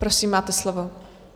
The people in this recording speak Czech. Prosím, máte slovo.